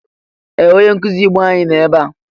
Ee! Onye nkụzi Igbo anyi nọ ebea.